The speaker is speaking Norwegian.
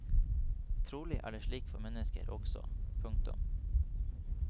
Trolig er det slik for mennesker også. punktum